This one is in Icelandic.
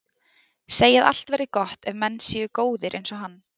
Segja að allt verði gott ef menn séu góðir einsog hann.